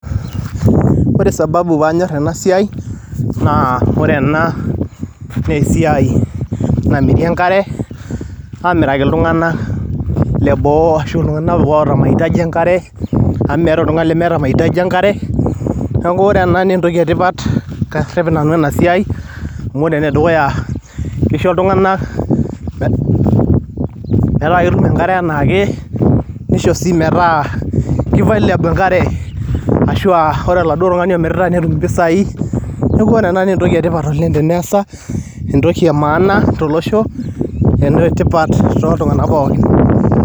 ore sababu panyor ena siai naa ore ena naa esiai namiri enkare amiraki iltunganak leboo ashuaa iltungank oota maitaji enkare , amu meeta oltungani lemeeta maihitaji enkare , niuaku ore ena naa entoki etipat karep nanu ena siai . amu ore ene dukuya naa kisho iltunganak metaa ketum enkare anaake nisho sii metaa kivalabol enkare ashuaa ore oladuoo tungani omirita netum impisai . niaku ore ena naa entoki etipat oleng teneasa, entoki emaana tolosho naa enetipat toltungank pookin